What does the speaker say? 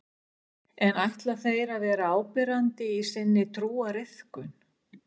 En ætla þeir að vera áberandi í sinni trúariðkun?